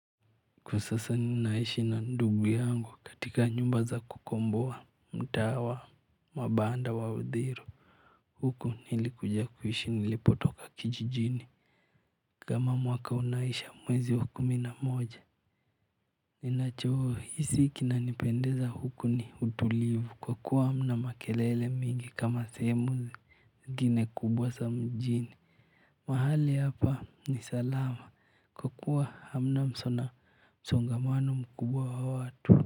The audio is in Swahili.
Kwa sasa ninaishi na ndugu yangu katika nyumba za kukomboa mtaa wa mabanda wa Uthiru. Huko nilikuja kuishi nilipotoka kijijini kama mwaka unaisha mwezi wa kumi na moja. Ninachohisi kinanipendeza huku ni utulivu kwa kuwa hamna makelele mingi kama sehemu zingine kubwa za mjini. Mahali hapa ni salama kwa kuwa hamna msongamano mkubwa wa watu.